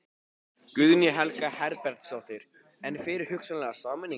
Guðný Helga Herbertsdóttir: En fyrir hugsanlega sameiningu?